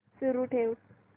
सुरू ठेव